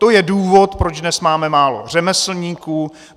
To je důvod, proč dnes máme málo řemeslníků.